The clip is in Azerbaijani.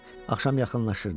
Axşam yaxınlaşırdı.